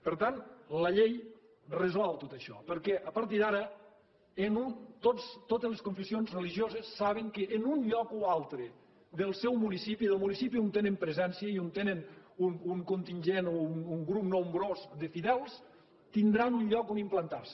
per tant la llei resol tot això perquè a partir d’ara totes les confessions religioses saben que en un lloc o altre del seu municipi del municipi on tenen presència i on tenen un contingent o un grup nombrós de fidels tindran un lloc on implantar se